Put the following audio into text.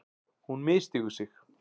Hún misstígur sig.